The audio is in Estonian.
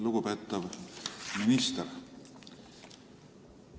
Lugupeetav minister!